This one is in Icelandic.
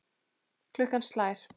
Klukkan slær.